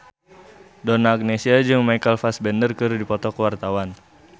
Donna Agnesia jeung Michael Fassbender keur dipoto ku wartawan